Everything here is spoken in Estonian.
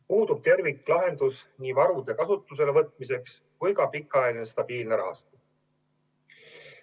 Puudub terviklahendus nii varude kasutusele võtmiseks kui ka pikaajaline stabiilne rahastamine.